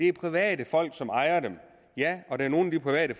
er private som ejer dem og der er nogle af de private